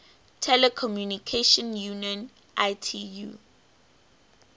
telecommunication union itu